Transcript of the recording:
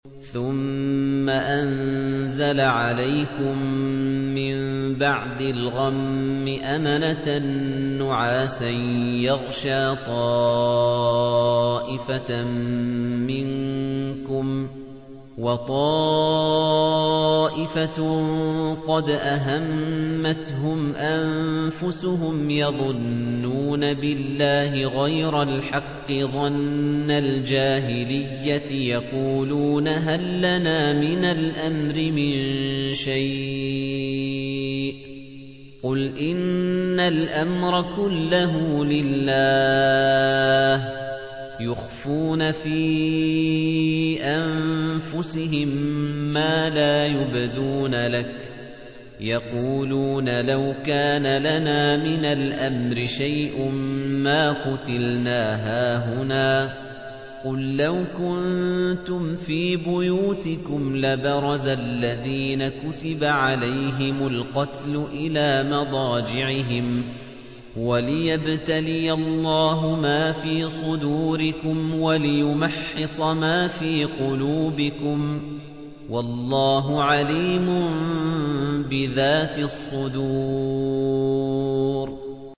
ثُمَّ أَنزَلَ عَلَيْكُم مِّن بَعْدِ الْغَمِّ أَمَنَةً نُّعَاسًا يَغْشَىٰ طَائِفَةً مِّنكُمْ ۖ وَطَائِفَةٌ قَدْ أَهَمَّتْهُمْ أَنفُسُهُمْ يَظُنُّونَ بِاللَّهِ غَيْرَ الْحَقِّ ظَنَّ الْجَاهِلِيَّةِ ۖ يَقُولُونَ هَل لَّنَا مِنَ الْأَمْرِ مِن شَيْءٍ ۗ قُلْ إِنَّ الْأَمْرَ كُلَّهُ لِلَّهِ ۗ يُخْفُونَ فِي أَنفُسِهِم مَّا لَا يُبْدُونَ لَكَ ۖ يَقُولُونَ لَوْ كَانَ لَنَا مِنَ الْأَمْرِ شَيْءٌ مَّا قُتِلْنَا هَاهُنَا ۗ قُل لَّوْ كُنتُمْ فِي بُيُوتِكُمْ لَبَرَزَ الَّذِينَ كُتِبَ عَلَيْهِمُ الْقَتْلُ إِلَىٰ مَضَاجِعِهِمْ ۖ وَلِيَبْتَلِيَ اللَّهُ مَا فِي صُدُورِكُمْ وَلِيُمَحِّصَ مَا فِي قُلُوبِكُمْ ۗ وَاللَّهُ عَلِيمٌ بِذَاتِ الصُّدُورِ